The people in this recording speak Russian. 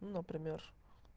ну пример